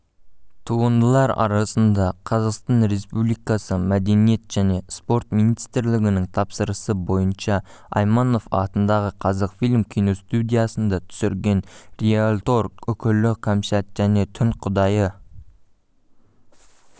туындылар арасында қазақстан республикасы мәдениет және спорт министрлігінің тапсырысы бойынша айманов атындағы қазақфильм киностудиясында түсірген риэлтор үкілі кәмшат және түн құдайы